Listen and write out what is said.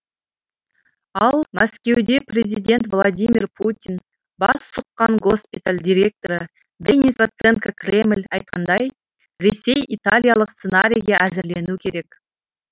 ал мәскеуде президент владимир путин бас сұққан госпиталь директоры денис проценко кремль айтқандай ресей италиялық сценарийге әзірленуі керек